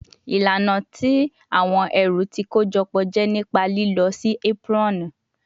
Ilana ti awọn ẹru ti kojọpọ jẹ nipa lilọ si aproni